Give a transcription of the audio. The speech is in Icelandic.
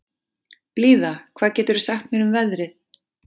Blíða, hvað geturðu sagt mér um veðrið?